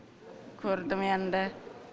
көрдім енді